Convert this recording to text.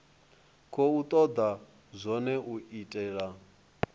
khou toda zwone u itela